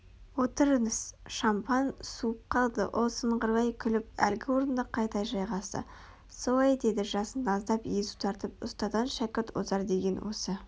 отырыңыз шампан суып қалды ол сыңғырлай күліп әлгі орнына қайта жайғасты солай деді жасын аздап езу тартып ұстаздан шәкірт озар деген осы